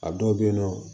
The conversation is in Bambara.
A dɔw bɛyen nɔ